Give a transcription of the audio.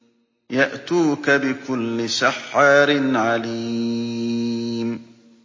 يَأْتُوكَ بِكُلِّ سَحَّارٍ عَلِيمٍ